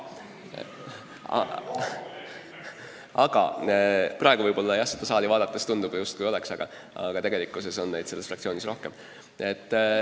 Aga praegu seda saali vaadates tundub tõesti, justkui tegelikkuses oleks neid selles fraktsioonis rohkem.